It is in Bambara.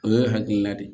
O ye hakilina de ye